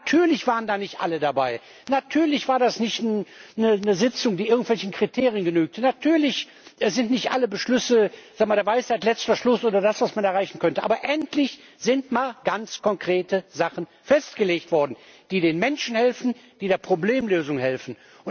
Natürlich waren da nicht alle dabei, natürlich war das nicht eine Sitzung, die irgendwelchen Kriterien genügt, natürlich waren nicht alle Beschlüsse der Weisheit letzter Schluss oder haben das erbracht, was man erreichen könnte, aber endlich sind mal ganz konkrete Sachen festgelegt worden, die den Menschen helfen, die der Problemlösung helfen.